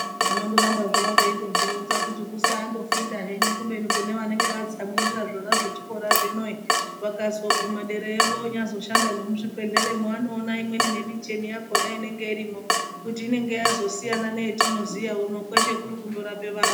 Vanondoramba havo veindozvironza kuti kusandofunda henyu kubeni kune vanenge vatsamwirira zvona zvechikora zvino vakazoguma derayo vonyazoshanda nemuzvibhedhleramwo anoona imweni nemichini yakona inenge irimwo kuti inonga yazosiyana neyetinoziya uno kweshe kundorape vantu.